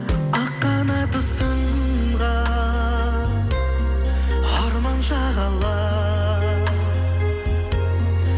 ақ қанаты сынған арман шағала